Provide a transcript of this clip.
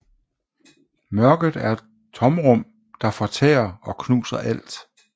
Mørket er et tomrum der fortærer og knuser alt